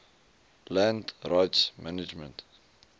land rights management